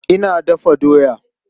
Ina dafa doya.